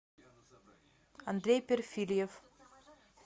андрей перфирьев